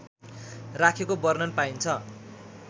राखेको वर्णन पाइन्छ